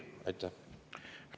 –, ütleme, viril.